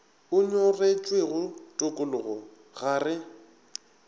o nyoretšwego tokologo ga re